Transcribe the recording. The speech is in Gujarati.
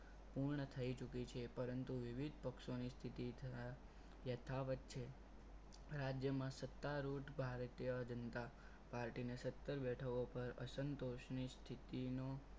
પૂર્ણ થઈ ચૂકી છે પરંતુ વિવિધ પક્ષોની સ્થિતિ ધરા યથાવત છે રાજ્યમાં સત્તા રૂટ ભારતીય જનતા પાર્ટીને સત્તર બેઠક ઉપર અસંતોષની સ્થિતિનો